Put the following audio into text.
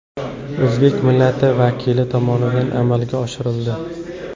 O‘zbek millati vakili tomonidan amalga oshirildi.